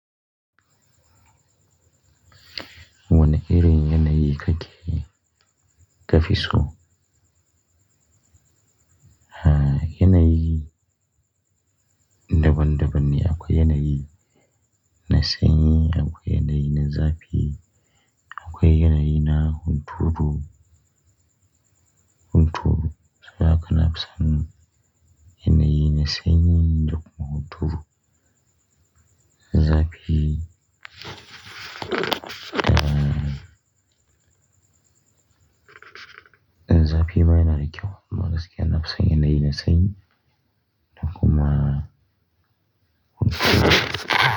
Wane irin yanayi kake ka fi so? Aaa, yanayi daban-daban ne. Akwai yanayi na sanyi, akwai yanayi na zafi, akwai yanayi na hunturu, hunturu. Saboda haka nafi son yanayi na sanyi da kuma hunturu. Zafi, aaaa, zafi ma yana da kyau. Amma gaskiya na fi son yanayi na sanyi da kuma hunturu.